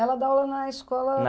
Ela dá aula na escola